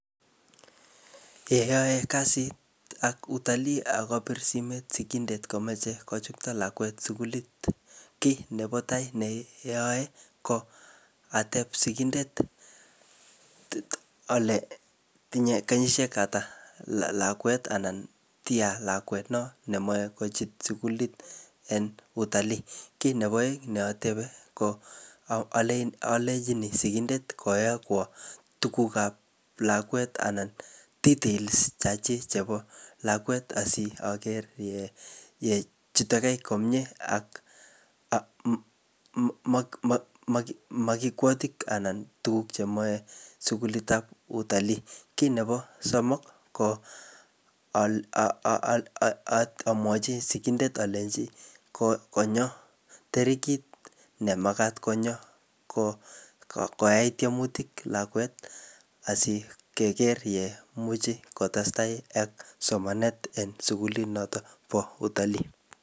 Ye ayae kasit ak Utalii akopir simet sigindet komeche kochukto lakwet sukulit, kiy nebo tai ne ayae ko ateb sigindet ale tinye kenyishek ata lakwet, anan tia lakwet no nemoche kochut sukulit en Utalii. Kit nebo aeng ne atebe ko alenjini sigindet koyokwo tuguk ap lakwet anan details chachik chebo lakwet asiyager yechutege komyee ak um makikwotik anan tuguk chemoche sukulitab Utalii. kit nebo somok, ko um amwochi sigindet alenji ko konyo terikit ne makat konyo koai tiemutik lakwet, asikeger yemuchi kotestai ak somanet eng sukulit notok bo Utalii.